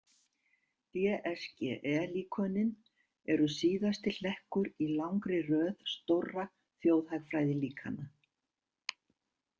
DSGE-líkönin eru síðasti hlekkur í langri röð stórra þjóðhagfræðilíkana.